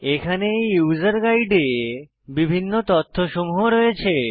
এখানে এই ইউসার গাইডে বিভিন্ন তথ্যসমূহ রয়েছে